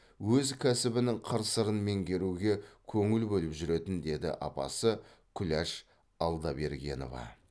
өз кәсібінің қыр сырын меңгеруге көңіл бөліп жүретін деді апасы күләш алдабергенова